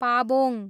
Pabong